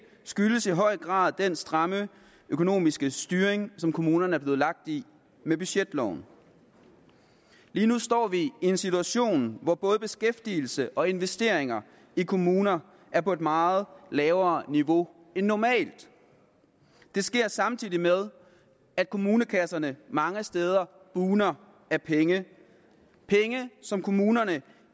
skyldes i høj grad den stramme økonomiske styring som kommunerne er blevet lagt i med budgetloven lige nu står vi i en situation hvor både beskæftigelse og investeringer i kommuner er på et meget lavere niveau end normalt det sker samtidig med at kommunekasserne mange steder bugner af penge penge som kommunerne